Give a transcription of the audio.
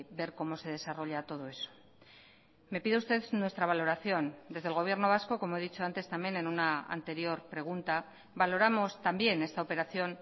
ver cómo se desarrolla todo eso me pide usted nuestra valoración desde el gobierno vasco como he dicho antes también en una anterior pregunta valoramos también esta operación